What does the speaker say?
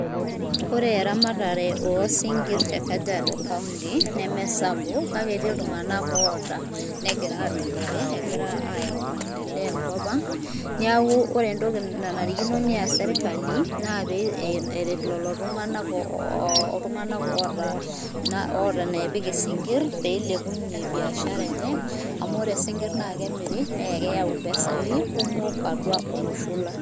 Ore eramatare oosinkirr te Kajiado kaunti nemesapuk kake etii iltung'ak oota negira aadupore, egira aayau maendeleo enkop ang', neeku ore entoki nanarikino neas serkali naa pee eret lelo tung'anak oota neepik isinkirr peilepunye biashara enye, amu ore sinkirr naa kemiri naa keyai mpesai kumok atua olosho lang'.